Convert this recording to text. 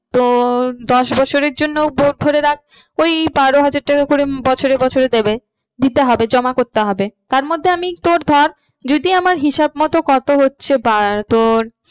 তো দশ বছরের জন্য তোর ধরে রাখ ওই বারো হাজার টাকা করে বছরে বছরে দেবে, দিতে হবে জমা করতে হবে। তার মধ্যে আমি তোর ধর যদি আমার হিসাব মতো কত হচ্ছে বা তোর